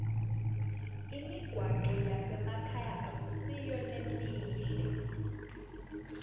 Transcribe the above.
imigwaco yasemakhaya ayisiyo lemihle